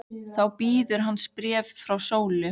Þá bíður hans bréf frá Sólu.